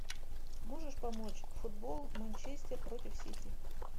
можешь помочь футбол манчестер против сити